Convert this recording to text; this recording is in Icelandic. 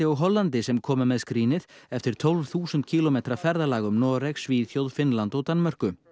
sem komu með skrínið eftir tólf þúsund kílómetra ferðalag um Noreg Svíþjóð Finnland og Danmörku